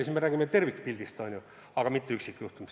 Siis me räägime tervikpildist, mitte üksikjuhtumist.